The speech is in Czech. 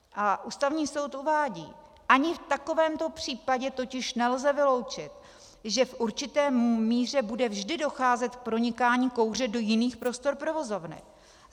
A Ústavní soud uvádí: Ani v takovémto případě totiž nelze vyloučit, že v určité míře bude vždy docházet k pronikání kouře do jiných prostor provozovny.